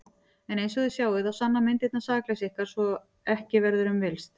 En einsog þið sjáið þá sanna myndirnar sakleysi ykkar svo að ekki verður um villst.